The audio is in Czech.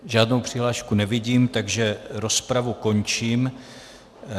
Žádnou přihlášku nevidím, takže rozpravu končím.